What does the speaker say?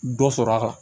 Dɔ sɔrɔ a kan